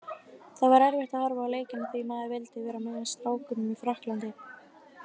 Það var erfitt að horfa á leikina því maður vildi vera með strákunum í Frakklandi.